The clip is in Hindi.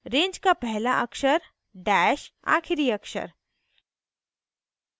range का पहला अक्षर dash आखिरी अक्षर